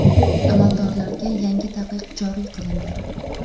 Amaldorlarga yangi taqiq joriy qilindi.